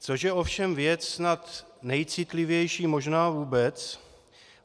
Což je ovšem věc snad nejcitlivější možná vůbec.